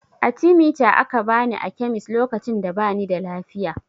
Atimita aka bani a kemis lokacin da bani da lafiya